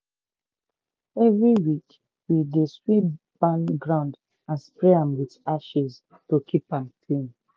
every week we dey sweep barn ground and spray am ashes to keep am clean